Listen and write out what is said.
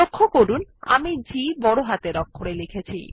লক্ষ্য করুন আমি G বড় হাতের অক্ষরে লিখেছি